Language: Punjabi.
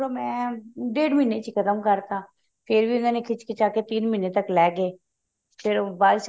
ਮੈਂ ਡੇੜ ਮਹੀਨੇ ਚ ਹੀ ਖਤਮ ਕਰਤਾ ਫ਼ੇਰ ਵੀ ਉਹਨਾ ਨੇ ਖਿੱਚ ਖਿਚਾ ਕੇ ਤਿੰਨ ਮਹੀਨੇ ਤੱਕ ਲੈਗੇ ਫ਼ੇਰ